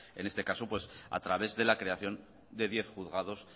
en este caso a través de la creación de diez juzgados